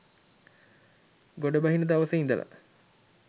ගොඩබහින දවසේ ඉඳලා.